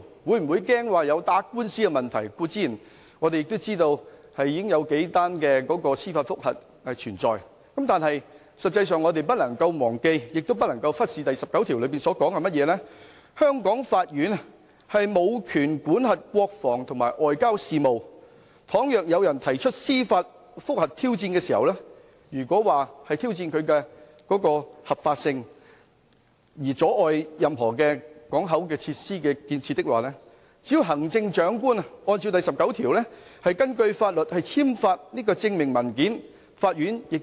我們固然知道現時已有數宗司法覆核案件存在，但我們實際上不能夠忘記亦不能夠忽視第十九條的條文，香港法院無權管轄國防及外交等國家行為，倘若有人提出司法覆核挑戰，如果是挑戰當中的合法性而阻礙了任何口岸設施的建設，行政長官只要按照第十九條，根據法律，簽發證明文件，法院亦